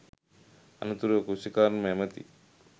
අනතුරුව කෘෂිකර්ම ඇමති